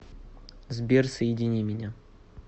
сбер соедини меня